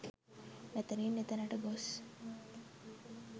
මෙතැනින් එතැනට ගොස්